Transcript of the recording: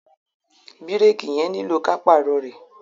Bírèèkì yẹn nílò ka pààrọ̀ rẹ̀.